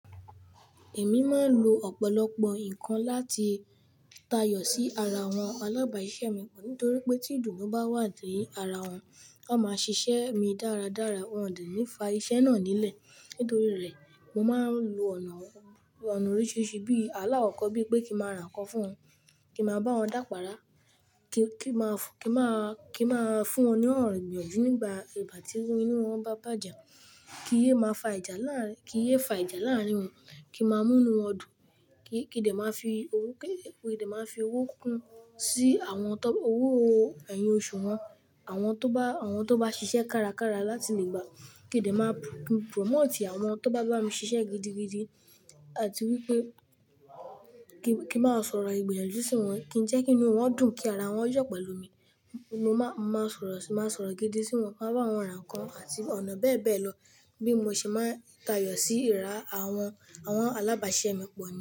Èmi máa ń lo ọ̀pọ̀lọpọ̀ nǹkan láti tayọ̀ sí ara àwọn alábàáṣẹ́ mi pọ̀ nítorí pé tí ìdun bá wà ní ara wọn, wọn máa ṣiṣẹ́ mi dáradára. Wọn ò ní fa iṣẹ́ náà nílẹ̀ nítorí rẹ̀. Mo máa ń lo ọ̀nà oríṣiríṣi bí alawọ̀ kan, bí pé kí n máa ra ǹkan fún wọn, kí n máa bá wọn dápará, kí máa, kí máa, kí máa fún wọn ní ọ̀ro ìyanju nígbà ìgbà tí inú wọn bá bàjẹ́, kí iyè máa fa ìjà láàárín, kí iyè fa ìjà láàárín wọn, kí n máa mú inú wọn dùn, kí, kí De máa fi owó, kí De máa fi owó kún sí àwọn tó, owó ẹyọ oṣù wọn. Àwọn tó bá, àwọn tó bá ṣiṣẹ́ kárakára láti lè gba kí De máa promote àwọn tó bá bá mi ṣiṣẹ́ gidigidi àti wípé kí, kí n máa sọ̀rọ̀ ìgbòyè sí wọn, kí ń jẹ́ kí inú wọn dùn, kí ara wọn yọ̀ pẹ̀lú mi. Mo máa, màá sọ̀rọ̀, màá sọ̀rọ̀ gidi sí wọn, màá bá wọn ra ǹkan àti ọ̀nà bẹ́ẹ̀ bẹ́ẹ̀ lọ bí mo ṣe máa ń tayọ̀ sí ìrá àwọn, àwọn alábáṣeṣẹ́ mi pọ̀ ni.